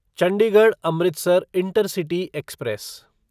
Chandigarh Amritsar intercity express